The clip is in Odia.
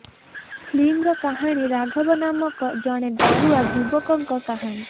ଫିଲ୍ମର କାହାଣୀ ରାଘବ ନାମକ ଜଣେ ଡରୁଆ ଯୁବକଙ୍କ କାହାଣୀ